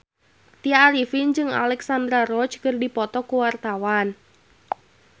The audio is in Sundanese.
Tya Arifin jeung Alexandra Roach keur dipoto ku wartawan